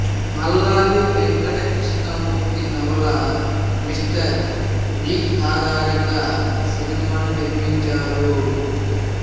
మల్లాది వెంకట కృష్ణమూర్తి నవల mister V ఆధారంగా సినిమాను నిర్మించారు